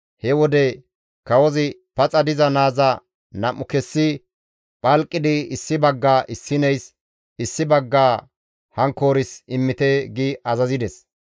He wode kawozi, «Paxa diza naaza nam7u kessi phalqidi issi baggaa issineys, issi baggaa hankkoors immite» gi azazides.